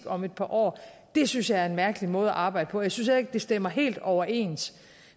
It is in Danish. om et par år synes jeg er en mærkelig måde at arbejde på jeg synes heller ikke det stemmer helt overens